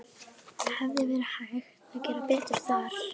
Hefði verið hægt að gera betur þar?